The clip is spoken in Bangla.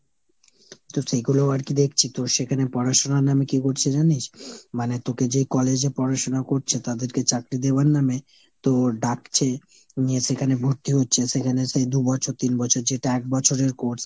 তো সেগুলো ও আর কি দেখছি। তোর সেখানে পড়াশুনোর নামে কী করছে জানিস ? মানে তোকে যে college এ পড়াশুনো করছে তাদেরকে চাকরি দেওয়ার নামে তোর ডাকছে, নিয়ে সেখানে ভর্তি হচ্ছে। সেখানে সে দু'বছর তিন বছর যেটা এক বছরের course;